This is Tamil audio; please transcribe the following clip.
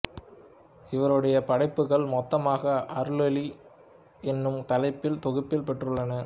இவருடைய படைப்புகள் மொத்தமாக அருளொளி என்னும் தலைப்பில் தொகுப்பப் பெற்றுள்ளன